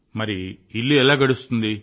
మరి ఇల్లెలా గడుస్తుంది